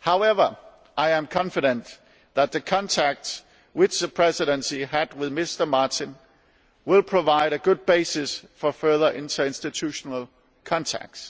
However, I am confident that the contacts which the Presidency had with Mr Martin will provide a good basis for further inter institutional contacts.